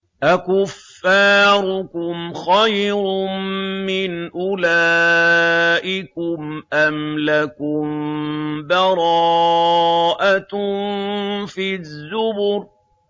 أَكُفَّارُكُمْ خَيْرٌ مِّنْ أُولَٰئِكُمْ أَمْ لَكُم بَرَاءَةٌ فِي الزُّبُرِ